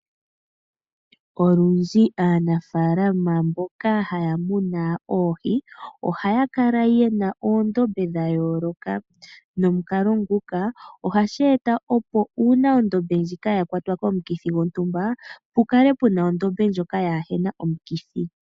Olundji aanafalama mboka taamunu oohi ohaakala yena oondombe dhayoloka, nomukalo nguka ohasheeta uuna oohi dho mondombe yimwe odhakwatwa komikithi pukale puna ondombe ndjoka yina oohi kaadhina omikithi .